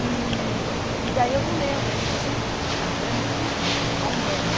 E e daí eu não lembro, assim, porque eu sempre... É muito a Umbanda.